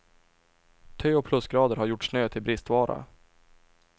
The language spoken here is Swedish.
Tö och plusgrader har gjort snö till bristvara.